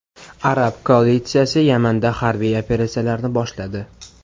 Arab koalitsiyasi Yamanda harbiy operatsiyalarni boshladi.